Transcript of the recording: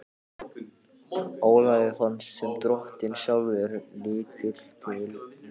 Ólafi fannst sem Drottinn sjálfur liti til með sér.